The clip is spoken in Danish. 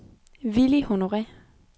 Villy Honore